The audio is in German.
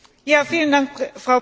Frau Präsidentin!